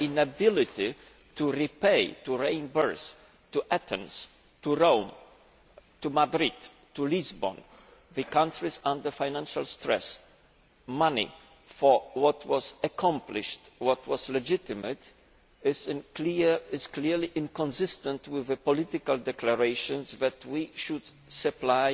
Our inability to repay, to reimburse to Athens, to Rome, to Madrid, to Lisbon, the countries under financial stress, money for what was accomplished, what was legitimate, is clearly inconsistent with the political declarations that we should supply